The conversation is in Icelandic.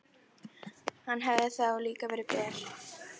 Hann hefði þá líka verið ber.